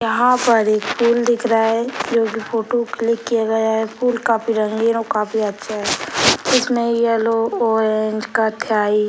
यहाँ पर एक पूल दिख रहा है जो की फोटो क्लिक किया गया है | पूल काफी रंगीन और काफी अच्छा है | इसमे येलो ऑरेंज कत्थई --